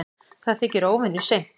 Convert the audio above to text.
Það þykir óvenju seint